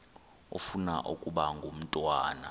ufuna ukaba ngumntwana